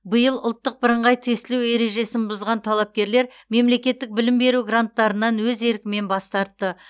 биыл ұлттық бірыңғай тестілеу ережесін бұзған талапкерлер мемлекеттік білім беру гранттарынан өз еркімен бас тартты